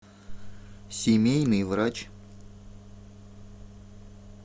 семейный врач